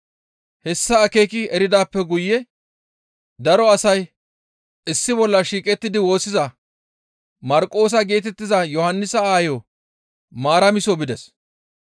Hessa akeeki eridaappe guye daro asay issi bolla shiiqettidi woossiza Marqoosa geetettiza Yohannisa aayo Maaramiso bides.